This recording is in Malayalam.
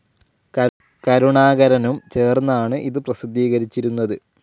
കരുണാകരനും ചേർന്നാണ് ഇത് പ്രസിദ്ധീകരിച്ചിരുന്നത്